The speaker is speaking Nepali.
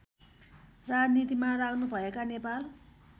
राजनीतिमा लाग्नुभएका नेपाल